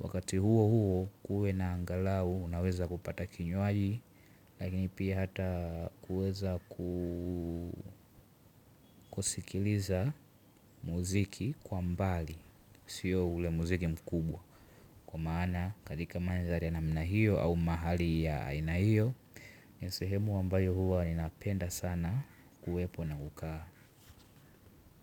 wakati huo huo kuwe na angalau unaweza kupata kinywaji. Lakini pia hata kuweza kusikiliza muziki kwa mbali sio ule muziki mkubwa. Kwa maana katika manzari ya namna hiyo au mahali ya aina hiyo nisehemu ambayo huwa ni napenda sana kuwepo na kukaa.